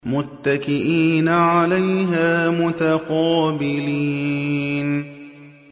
مُّتَّكِئِينَ عَلَيْهَا مُتَقَابِلِينَ